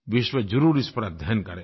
विश्व ज़रूर इस पर अध्ययन करेगा